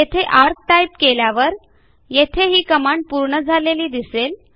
येथे ARC type केल्यावर येथे ही कमांड पूर्ण झालेली दिसेल